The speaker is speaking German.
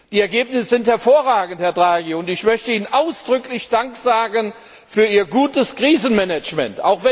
Die Ergebnisse sind hervorragend, Herr Draghi, und ich möchte Ihnen ausdrücklich Dank sagen für Ihr gutes Krisenmanagement!